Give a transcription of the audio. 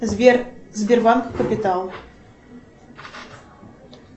сбер сбербанк капитал